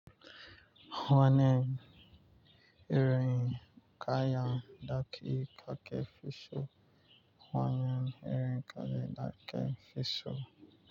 Wanan irin kaya daki kake fi so wanan irin kaya daki fi so.